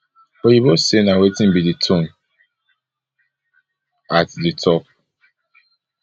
oyinbo say na wetin be di tone at di top